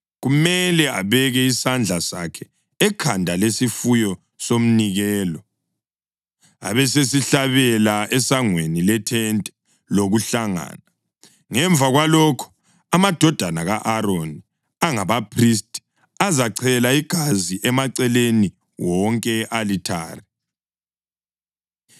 Kumele abeke isandla sakhe ekhanda lesifuyo somnikelo, abesesihlabela esangweni lethente lokuhlangana. Ngemva kwalokho, amadodana ka-Aroni angabaphristi, azachela igazi emaceleni wonke e-alithare.